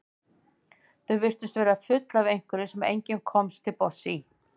Þau virtust vera full af einhverju sem enginn komst til botns í.